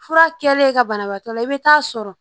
Fura kɛlen ka banabaatɔ la i bɛ taa sɔrɔ